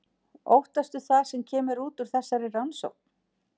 Óttastu það sem kemur út úr þessari rannsókn?